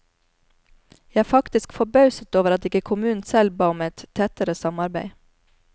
Jeg er faktisk forbauset over at ikke kommunen selv ba om et tettere samarbeid.